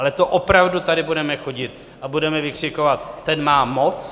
Ale to opravdu tady budeme chodit a budeme vykřikovat: ten má moc?